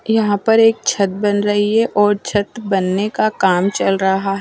और यहा पर एक छत बन रही है छत बनने का काम चल रहा --